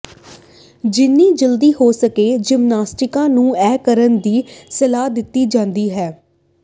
ਜਿੰਨੀ ਜਲਦੀ ਹੋ ਸਕੇ ਜਿਮਨਾਸਟਿਕਾਂ ਨੂੰ ਇਹ ਕਰਨ ਦੀ ਸਲਾਹ ਦਿੱਤੀ ਜਾਂਦੀ ਹੈ